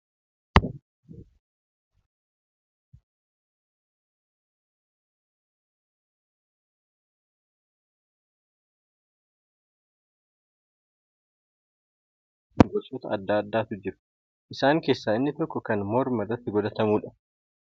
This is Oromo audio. Faaya jechuun meeshaalee miidhaginaa bareedina qaama namaa dabaluu keessatti iddoo olaanaa qaban yemmuu taatu, isaanis akkaataa uumamaa fi caasaa isaanii irratti hundaa'uun gosoota addaa addaatu jiru. Isaan keessa inni tokko kan morma irratti godhatamudha.